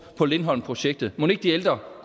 på lindholmprojektet mon ikke de ældre